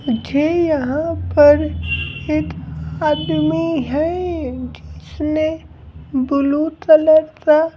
मुझे यहाँ पर एक आदमी है जिसने ब्लू तलर का--